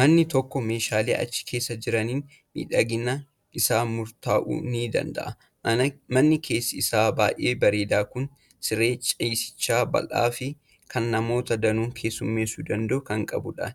Manni tokko meeshaalee achi keessa jiraniin miidhaginni isaa murtaa'uu ni danda'a. Manni keessi isaa baay'ee bareedaan kun siree ciisichaa bal'aa fi kan namoota danuu keessummeessuu danda'u kan qabudha.